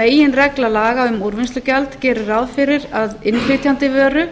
meginregla laga um úrvinnslugjald gerir ráð fyrir að innflytjandi vöru